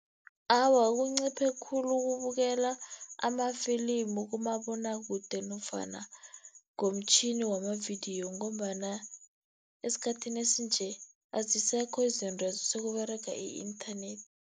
Awa, kunciphe khulu ukubukela amafilimu kumabonwakude, nofana ngomtjhini wamavidiyo, ngombana esikhathini esinje azisekho izintwezo sekuberega i-internet.